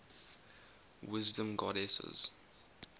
wisdom goddesses